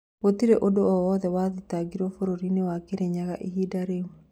Gũtirĩ ũndũ o wothe wathitangirwo bũrũrinĩ wa Kĩrĩnyaga ihinda rĩu